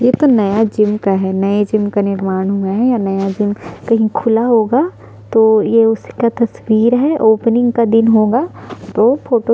ये तो नया जिम का है नए जिम का निर्माण हुआ है या नया जिम कहीं खुला होगा तो ये उसका तस्वीर है ओपनिंग का दिन होगा तो फोटो --